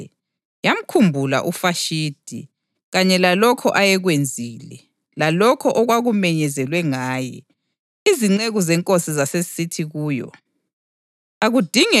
Emva kokuba ukuthukuthela kweNkosi u-Ahasuweru sekudedile, yamkhumbula uVashithi kanye lalokho ayekwenzile, lalokho okwakumenyezelwe ngaye.